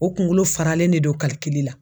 O kunkolo faralen de don la.